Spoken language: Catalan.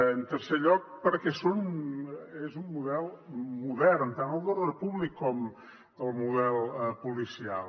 en tercer lloc perquè és un model modern tant el d’ordre públic com el model policial